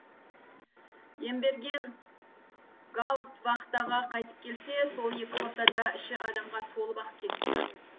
емберген гауфтвахтаға қайтып келсе сол екі ортада іші адамға толып ақ кетіпті